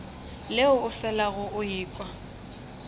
leo o felago o ekwa